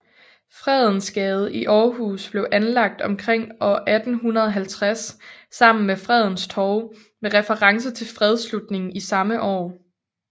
Fredensgade i Aarhus blev anlagt omkring år 1850 sammen med Fredens Torv med reference til fredsslutningen i samme år